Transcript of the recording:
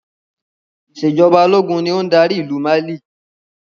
Ìsèjọba ológun ni ó ń dárí ìlú Mali